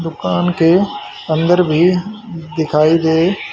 दुकान के अंदर भी दिखाई दे --